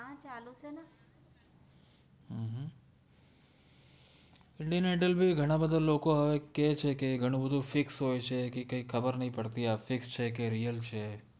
Indian idol ભી ઘના બદ્ધા લોકો અવે કે છે કે ઘનુ બધુ fix હોએ છે કિ કૈ ખબર નૈ પદતિ આ fix છે કે રીઅલ છે